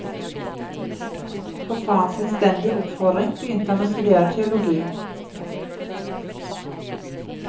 På farens innstendige oppfordring begynte han å studere teologi.